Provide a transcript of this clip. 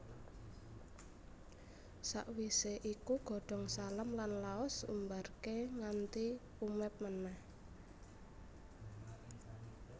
Sakwisé iku godhong salam lan laos Umbarké nganti umeb meneh